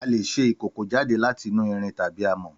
Àlé sẹ ìkòkó jade làtínù ìrín tàbí àmọ.